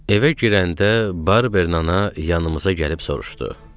Evə girəndə Barbern ana yanımıza gəlib soruşdu.